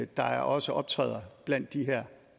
der også optræder blandt de her